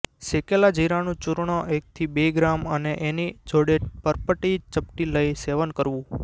શેકેલા જીરાનું ચૂર્ણ એકથી બે ગ્રામ અને એની જોડે પર્પટી ચપટી લઈ સેવન કરવું